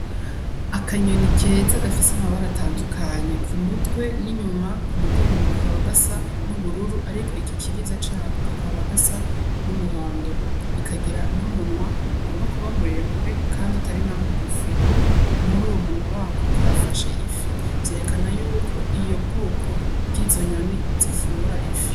Akanyoni keza gafis'amabara atandukanye k'umutwe n'inyuma k'umugongo kakaba gasa n'ubururu ariko igikiriza cako kakaba gasa n'umuhondo ikagira n'umunwa ugomba kuba muremure kandi utari na mugufi, muruwo munwa wako kafashe ifi vyerekana yuko iyo bwoko bwizonyoni zifungura ifi.